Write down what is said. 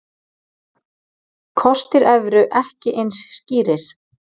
Kostir evru ekki eins skýrir